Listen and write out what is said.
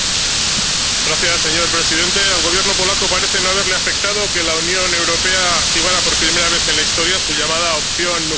Señor presidente, al Gobierno polaco parece no haberle afectado que la Unión Europea activara por primera vez en la historia su llamada opción nuclear del artículo